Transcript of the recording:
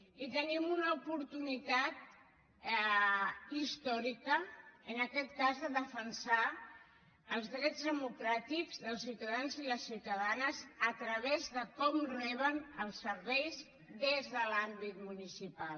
i tenim una oportunitat històrica en aquest cas per defensar els drets democràtics dels ciutadans i les ciutadanes a través de com reben els serveis des de l’àmbit municipal